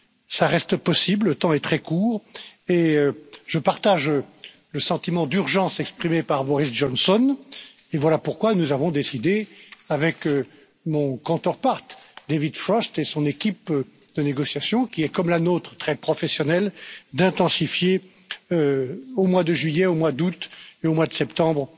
Cela reste possible, le temps est très court et je partage le sentiment d'urgence exprimé par Boris Johnson et voilà pourquoi nous avons décidé, avec mon counterpart David Frost et son équipe de négociation, qui est, comme la nôtre, très professionnelle, d'intensifier au mois de juillet, au mois d'août et au mois de septembre,